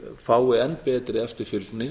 fái enn betri eftirfylgni